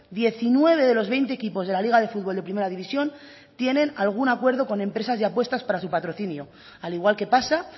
diecinueve de los veinte equipos de la liga de futbol de primera división tiene algún acuerdo con empresas de apuestas para su patrocinio al igual que pasa